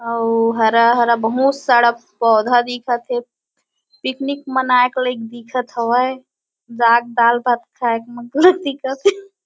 अउ हरा-हरा बहुत सारा पौधा दिखत हे पिकनिक मनाए के लाइक दिखत हवय जाक दाल-भात खाएक मन दिखत हे।